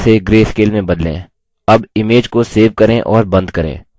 अब image को save करें और बंद करें